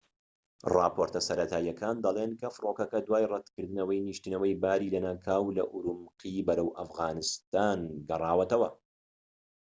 ڕاپۆرتەسەرەتاییەکان دەڵێن کە فڕۆکەکە دوای ڕەتکردنەوەی نیشتنەوەی باری لەناکاو لە ئورومقی بەرەو ئەفغانستان گەڕاوەتەوە